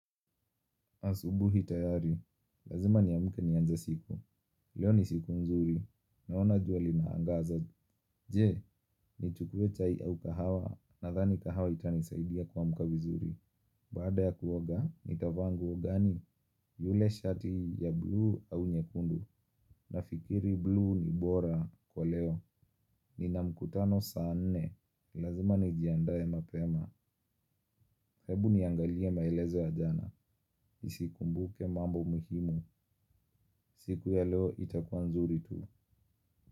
Asubuhi tayari, lazima niamke nianze siku, leo ni siku nzuri, naona jua linaangaza, je, nichukue chai au kahawa, nadhani kahawa itanisaidia kuamka vizuri. Baada ya kuoga, nitavaa nguo gani, yule shati ya bluu au nyekundu, nafikiri bluu ni bora kwa leo, nina mkutano saa nne, lazima nijiandae mapema. Hebu niangalie maelezo ya jana. Isikumbuke mambo muhimu. Siku ya leo itakuwa nzuri tu.